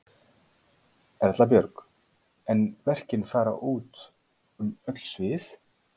Erla Björg: En verkin fara út um öll svið?